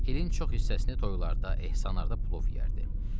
İlin çox hissəsini toylarda, ehsanlarda plov yeyərdi.